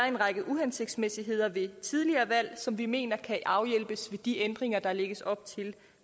en række uhensigtsmæssigheder ved tidligere valg som vi mener kan afhjælpes ved de ændringer der lægges op til